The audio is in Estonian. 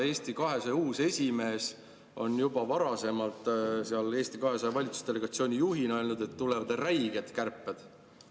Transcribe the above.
Eesti 200 uus esimees on juba varasemalt Eesti 200 valitsusdelegatsiooni juhina öelnud, et tulevad räiged kärped.